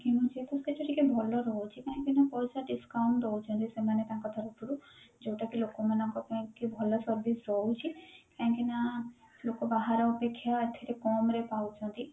କିଣୁଚେ ସେଠି ଟିକେ ଭଲ ରହୁଛି କାହିଁ କି ନା ପଇସା discount ଦଉଛନ୍ତି ସେମାନେ ତାଙ୍କ ତରଫରୁ ଯୋଉଟା କି ଲୋକମାନକ ପାଇଁ କି ଭଲ service ରହୁଛି କାହିଁ କି ନା ଲୋକ ବାହାର ଅପେକ୍ଷା ଏଥିରେ କମରେ ପାଉଛନ୍ତି